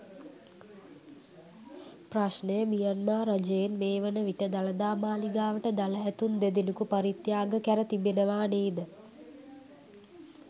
ප්‍රශ්නය මියන්මාර් රජයෙන් මේ වන විට දළදා මාළිගාවට දළ ඇතුන් දෙදෙනකු පරිත්‍යාග කැර තිබෙනවා නේද?